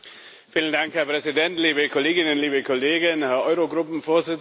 Herr Präsident, liebe Kolleginnen, liebe Kollegen, Herr Eurogruppenvorsitzender!